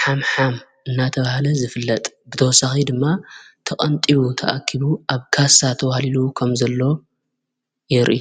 ሓም ኃም እናተብሃለ ዝፍለጥ ብተወሳኺ ድማ ተቐንጢቡ ተኣኪቡ ኣብ ካሳተ ውሃሊሉዉ ኸም ዘለ የርኢ።